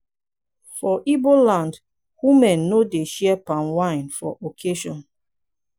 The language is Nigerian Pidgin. for ibo land women no dey share palm wine for occasion.